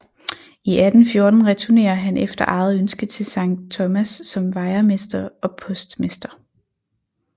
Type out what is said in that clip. I 1814 returnerer han efter eget ønske til Sankt Thomas som vejermester og postmester